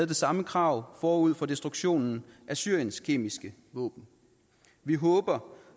det samme krav forud for destruktionen af syriens kemiske våben vi håber